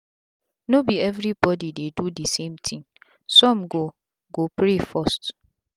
no be everi bodi dey do d same tin sum go go pray first